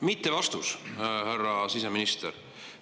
Mittevastus, härra siseminister!